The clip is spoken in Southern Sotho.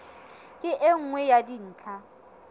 ke e nngwe ya dintlha